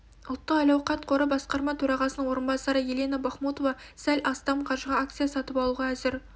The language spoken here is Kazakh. ұлттық әл-ауқат қоры басқарма төрағасының орынбасары елена бахмутова сәл астам қаржыға акция сатып алуға әзір